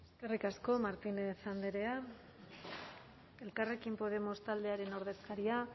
eskerrik asko martínez andrea elkarrekin podemos taldearen ordezkaria